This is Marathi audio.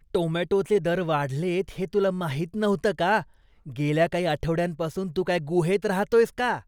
टोमॅटोचे दर वाढलेत हे तुला माहीत नव्हतं का? गेल्या काही आठवड्यांपासून तू काय गुहेत राहतोयस का?